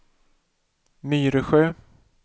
Myresjö